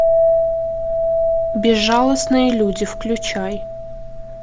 безжалостные люди включай